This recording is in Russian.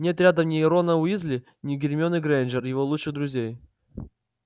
нет рядом ни рона уизли ни гермионы грэйнджер его лучших друзей